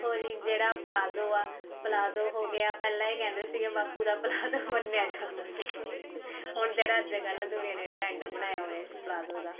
ਵੇਖੋ ਜੀ ਜਿਹੜਾ ਪਲਾਜ਼ੋ ਆ ਪਲਾਜ਼ੋ ਹੋਗਿਆ ਪਹਿਲਾਂ ਇਹ ਕਹਿੰਦੇ ਸੀਗੇ ਬਾਪੁ ਦਾ ਪਲਾਜ਼ੋ ਮੰਨਿਆ ਜਾਂਦਾ ਸੀ ਹੁਣ ਜਿਹੜਾ ਅੱਜਕਲ ਦੁਨੀਆ ਨੇ trend ਬਣਾਇਆ ਹੋਇਆ ਪਲਾਜੋ ਦਾ